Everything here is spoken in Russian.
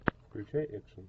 включай экшн